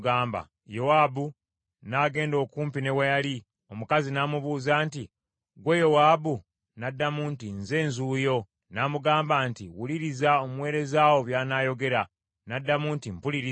Yowaabu n’agenda okumpi ne we yali, omukazi n’amubuuza nti, “Ggwe Yowaabu?” N’addamu nti, “Nze nzuuyo.” N’amugamba nti, “Wuliriza omuweereza wo by’anaayogera.” N’addamu nti, “Mpuliriza.”